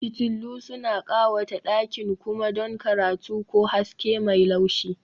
Fitillu suna ƙawata ɗakin kuma don karatu ko haske mai laushi